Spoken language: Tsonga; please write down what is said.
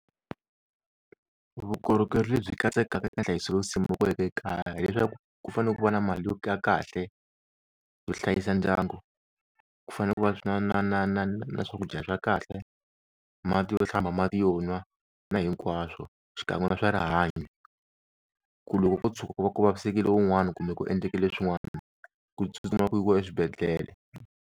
Vukorhokeri lebyi katsekaka ka hlayiso le kaya ku fanele ku va na mali yo kahle yo hlayisa ndyangu, ku fane ku va na na na na na swakudya swa kahle, mati yo hlamba, mati yo nwa na hinkwaswo xikan'we na swa rihanyo, ku loko ko tshuka ku va ku vavisekile wun'wani kumbe ku endlekile swin'wana ku tsutsuma ku yiwa exibedhlele.